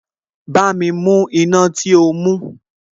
Bámi mú iná tí o mú